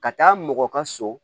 Ka taa mɔgɔ ka so